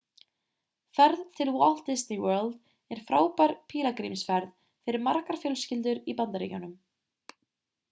ferð til walt disney world er frábær pílagrímsferð fyrir margar fjölskyldur í bandaríkjunum